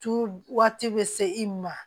Tu waati bɛ se i ma